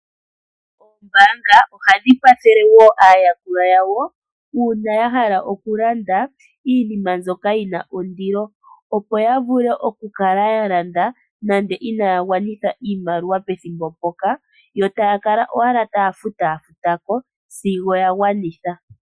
Oombanga dhetu kwathele woo aayakulwa yawo uuna yahala oku landa iinima mbyoka yina ondilo opo yavule okukala ya landa nande inaya gwanitha iimaliwa pethimbo mpoka yo taya kala owala taya futuko sig